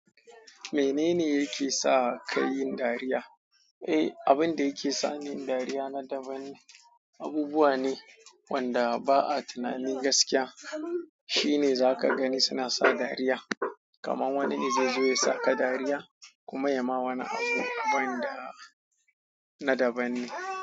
Menene yake sa ka yin dariya? Eh, abin da yake sa ni yin dariya na daban ne. Abubuwa ne wanda ba a tunanin gaskiya, shine za ka gani suna sa dariya. Kaman wani ne zai zo ya sa ka dariya, kuma ya ma wani abu, abin da na daban ne.